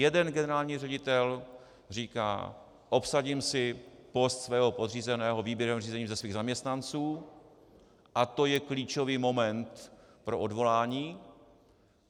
Jeden generální ředitel říká "obsadím si post svého podřízeného výběrovým řízením ze svých zaměstnanců" a to je klíčový moment pro odvolání.